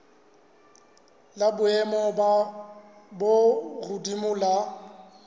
la boemo bo hodimo la